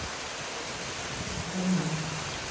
Heitasti júní frá upphafi mælinga